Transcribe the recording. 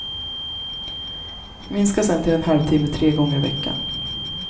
Minska sedan till en halvtimme tre gånger i veckan.